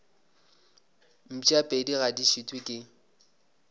mpšapedi ga di šitwe ke